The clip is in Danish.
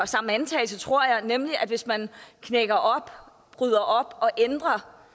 samme antagelse tror jeg nemlig at hvis man bryder op og ændrer